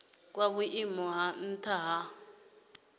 kwa vhuimo ha nha he